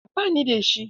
A'a ba ni da shi.